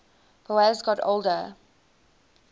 boas got older